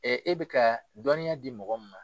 e bɛ ka dɔɔninya di mɔgɔ min ma.